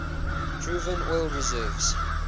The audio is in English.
proven oil reserves